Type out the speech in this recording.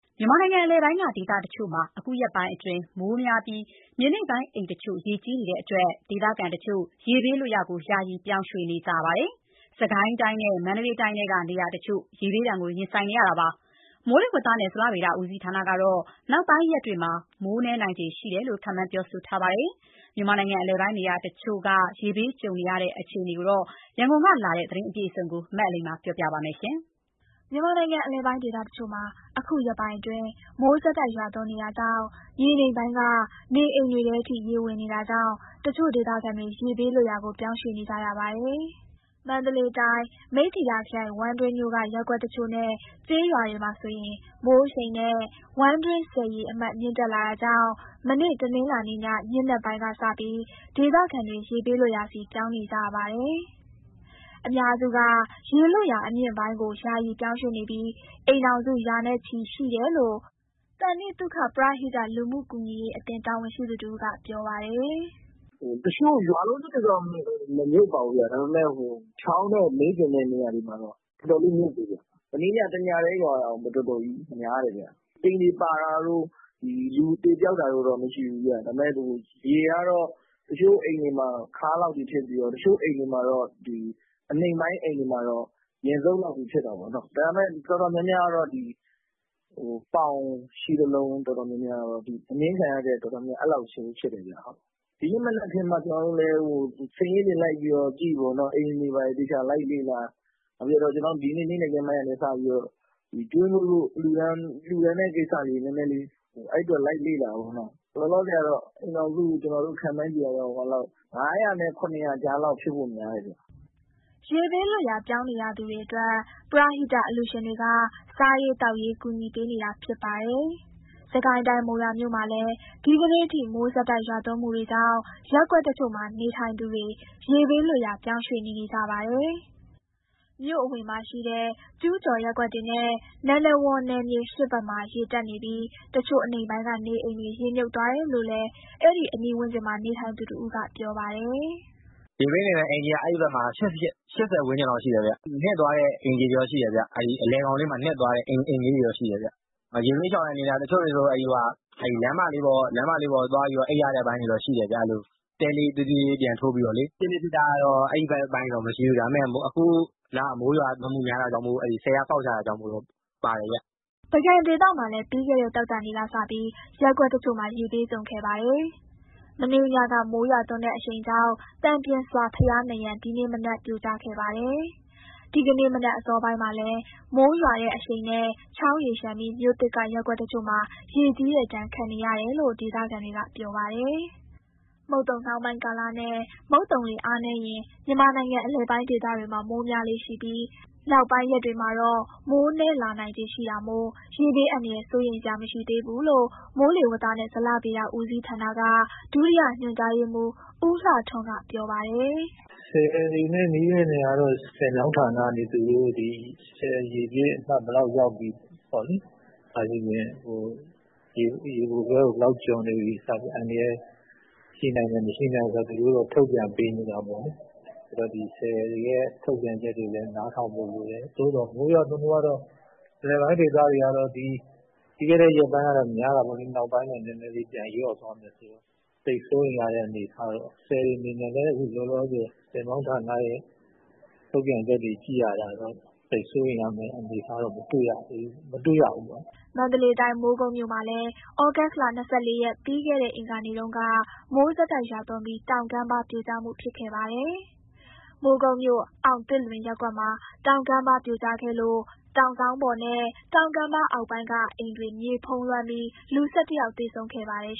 မြန်မာနိုင်ငံအလယ်ပိုင်းက ဒေသတချို့မှာ အခုရက်ပိုင်းအတွင်း မိုးရွာသွန်းမှုများပြီး မြေနိမ့်ပိုင်းအိမ်တချို့ရေကြီးနေတဲ့အတွက် ဒေသခံတချို့ ရေဘေးလွတ်ရာ ယာယီပြောင်းရွှေ့နေရပါတယ်။ မန္တလေးတိုင်းနဲ့ စစ်ကိုင်းတိုင်းထဲက နေရာတချို့ ရေဘေးကြုံနေတာပါ။ မိုးလေဝသနဲ့ ဇလဗေဒဦးစီးဌာနကတော့ နောက်ပိုင်းရက်တွေမှာ မိုးနည်းနိုင်ခြေရှိလို့ ခန့်မှန်းထားပါတယ်။ မြန်မာနိုင်ငံအလယ်ပိုင်းနေရာတချို့ ရေဘေးကြုံနေရတဲ့ အခြေအနေ ရန်ကုန်ကလာတဲ့ သတင်းအပြည့်အစုံကို အလိမ္မာ ကပြောပြပေးမှာပါ။ မြန်မာနိုင်ငံ အလယ်ပိုင်းဒေသတချို့မှာ အခုရက်ပိုင်းအတွင်း မိုးဆက်တိုက်ရွာသွန်းနေတာကြောင့် မြေနိမ့်ပိုင်းက နေအိမ်တွေထဲထိ ရေဝင်နေတာကြောင့် တချို့ဒေသခံတွေ ရေဘေးလွတ်ရာကို ပြောင်းရွှေ့နေကြရပါတယ်။ မန္တလေးတိုင်း၊ မိတ္ထီလာခရိုင်၊ ဝမ်းတွင်းမြို့က ရပ်ကွက်တချို့နဲ့ ကျေးရွာတွေမှာဆိုရင် မိုးအရှိန်နဲ့ ဝမ်းတွင်းဆည်ရေအမှတ် မြင့်တက်နေတာကြောင့် မနေ့တနင်္လာနေ့ည ညဉ့်နက်ပိုင်းကစပြီး ဒေသခံတွေ ရေဘေးလွတ်ရာဆီ ပြောင်းနေကြပါတယ်။ အများစုက ရေလွတ်ရာအမြင့်ပိုင်းကို ယာယီပြောင်းရွှေ့နေပြီး အိမ်ထောင်စုရာနဲ့ချီရှိတယ်လို့ သန္တိသုခပရဟိတ လူမှုကူညီရေးအသင်း တာဝန်ရှိသူတဦးက ပြောပါတယ်။ "တချို့ရွာလုံးကျွတ်တွေတော့ မမြုပ်ပါဘူးဗျ။ ဒါပေမယ့် ချောင်းနဲ့မေးတင်တဲ့ နေရာတွေမှာတော့ တော်တော်လေးမြုပ်တယ်ဗျ။ မနေ့ည ၁ ညတည်း ရွာတာကို တော်တော်ကြီးများတယ်ဗျ။ အိမ်တွေပါတာတို့၊ လူသေပျောက်တာတို့တော့ မရှိဘူးဗျ။ ဒါပေမယ့် ရေကတော့ တချို့အိမ်တွေမှာ ခါးလောက်ထိဖြစ်ပြီးတော့၊ အနိမ့်ပိုင်းအိမ်တွေမှာတော့ ရင်လောက်ထိဖြစ်တာပေါ့။ ဒါပေမယ့် တော်တော်များများကတော့ ပေါင်နဲ့ ခြေသလုံးလောက်တော့ ရှိတယ်ဗျ။ ဒီနေ့ မနက်ခင်းမှ ကျနော်တို့လည်း အိမ်တွေသေချာလိုက်လေ့လာ စာရင်းတွေလုပ်တော့ ဒီနေ့နေ့လည်ခင်းပိုင်းကနေ စပြီးတော့ ကျွေးမွေးလှူဒါန်းဖို့ လိုက်လေ့လာတော့ လောလောဆယ်ကတော့ ကျနော်တို့ခန့်မှန်းခြေ အိမ်ထောင်စု ၅၀၀ နဲ့ ၇၀၀ ကြားလောက် ဖြစ်ဖို့များတယ်ဗျ။" ရေဘေးလွတ်ရာ ပြောင်းနေရသူတွေအတွက် ပရဟိတ အလှူရှင်တွေက စားရေးသောက်ရေး ကူညီပေးနေတာဖြစ်ပါတယ်။ စစ်ကိုင်းတိုင်း၊ မုံရွာမြို့မှာလည်း ဒီကနေ့အထိ မိုးဆက်တိုက်ရွာသွန်းမှုတွေကြောင့် ရပ်ကွက်တချို့မှာနေထိုင်သူတွေ ရေဘေးလွတ်ရာ ပြောင်းရွှေ့နေနေကြပါတယ်။ မြို့အဝင်မှာရှိတဲ့ ကျူးကျော်ရပ်ကွက်တွေနဲ့ နန္ဒဝန်နယ်မြေ ၈ ဘက်မှာ ရေတက်နေပြီး တချို့အနိမ့်ပိုင်းက နေအိမ်တွေရေမြုပ်သွားတယ်လို့လည်း အဲဒီအနီးဝန်းကျင်မှာ နေထိုင်သူတဦးက ပြောပါတယ်။ "ရေဘေးသင့်တဲ့အိမ်ခြေက အဲဒီဘက်မှာ ၈၀ ဝန်းကျင်လောက်ရှိတယ်ဗျ။ အလယ်ခေါင်လေးမှာ နစ်သွားတဲ့ အိမ်ခြေတွေတော့ ရှိတယ်ဗျ။ ရေဘေးရှောင်ရတဲ့ အနေအထားက တချို့တွေဆို လမ်းမတွေပေါ်မှာ တဲလေးသေးသေးလေး ပြန်ထိုးပြီးတော့ အိပ်ရတဲ့အပိုင်းတော့ ရှိတယ်ဗျ။ ရေကြီးတာက ပုံမှန်တော့ ဖြစ်လေ့ဖြစ်ထ အဲဒီဘက်ပိုင်းတွေမှာ မရှိဘူး။ ဒါပေမယ့် အခုလက မိုးရွာသွန်းမှုများတာကြောင့် ကျောက္ကာဆည်ကဖောက်ချတာကြောင့် ပါတယ်ဗျ။" ပုဂံဒေသမှာလည်း ပြီးခဲ့တဲ့ သောကြာနေ့ကစပြီး ရပ်ကွက်တချို့မှာ ရေဘေးကြုံခဲ့ပါတယ်။ မနေ့ညက မိုးရွာသွန်းတဲ့အရှိန်ကြောင့် သံပျင်စွာဘုရားနံရံ ဒီနေ့မနက်က ပြိုကျခဲ့ပါတယ်။ ဒီကနေ့မနက်အစောပိုင်းမှာလည်း မိုးရွာတဲ့အရှိန်နဲ့ ချောင်းရေလျှံပြီး မြို့သစ်ကရပ်ကွက်တချို့မှာ ရေကြီးတဲ့ဒဏ် ခံနေရတယ်လို့ ဒေသခံတွေကပြောပါတယ်။ ဒီနှစ် ပုဂံမှာ မိုးကြီးတယ်လို့ ဒေသခံတွေက ပြောပါတယ်။ မုတ်သုံနှောင်းပိုင်းကာလနဲ့ မုတ်သုံလေအားနည်းရင် မြန်မာနိုင်ငံအလယ်ပိုင်းဒေသတွေမှာ မိုးများလေ့ရှိပြီး နောက်ပိုင်းရက်တွေမှာတော့ မိုးနည်းလာနိုင်ခြေရှိတာမို့ ရေဘေးအန္တရာယ် စိုးရိမ်စရာမရှိသေးဘူးလို့ မိုးလေဝသနဲ့ ဇလဗေဒဦးစီးဌာနက ဒုတိယညွှန်ကြားရေးမှူး ဦးလှထွန်းကပြောပါတယ်။ "ဆည်တွေနဲ့နီးတဲ့ နေရာတွေကတော့ ဆည်မြောင်းဌာနကနေ ဆည်ရေအမြင့် အမှတ်ဘယ်လောက်ရောက်ပြီ အစရှိသဖြင့် ရေပိုလွှဲကို ဘယ်လောက်ကျော်နေပြီ အန္တရာယ်ရှိနိုင်တယ်၊ မရှိနိုင်ဘူးဆိုတာ သူတို့တွေထုတ်ပြန်ပေးနေတာပေါ့နော်။ အဲတော့ ဆည်တွေရဲ့ထုတ်ပြန်ချက်ကိုလည်း နားထောင်ဖို့လိုတယ်။ မိုးရွာသွန်းမှုကတော့ အလယ်ပိုင်းဒေသတွေကတော့ ပြီးခဲ့တဲ့ရက်ပိုင်းကတော့ များတာပေါ့။ အခုနောက်ပိုင်းတော့ နည်းနည်းလေးပြန်လျော့သွားမယ်ဆိုတော့ သိပ်စိုးရိမ်ရတဲ့အနေအထားတော့ မရှိဘူး။ ဆည်တွေအနေနဲ့လည်း အခုလောလောဆယ် ဆည်မြောင်းဌာနရဲ့ထုတ်ပြန်ချက်တွေ ကြည့်ရတာတော့ သိပ်စိုးရိမ်ရတဲ့အနေအထားတော့ မတွေ့ရဘူးပေါ့နော်။" မန္တလေးတိုင်း၊ မိုးကုတ်မြို့မှာလည်း ဩဂုတ်လ ၂၄ ရက်၊ ပြီးခဲ့တဲ့ အင်္ဂါနေ့တုန်းက မိုးဆက်တိုက်ရွာသွန်းပြီး တောင်ကမ်းပါးပြိုကျမှု ဖြစ်ခဲ့ပါတယ်။ မိုးကုတ်မြို့၊ အောင်သစ်လွင်ရပ်ကွက်မှာ တောင်ကမ်းပါးပြိုကျခဲ့လို့ တောင်စောင်းပေါ်နဲ့ တောင်ကမ်းပါးအောက်ပိုင်းက အိမ်တွေမြေဖုံးလွှမ်းပြီး လူ ၁၁ယောက် သေဆုံးခဲ့ပါတယ်